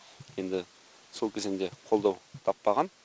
енді сол кезеңде қолдау таппаған